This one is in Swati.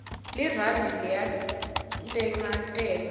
lirandi liyantengantenga